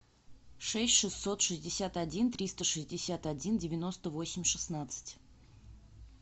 шесть шестьсот шестьдесят один триста шестьдесят один девяносто восемь шестнадцать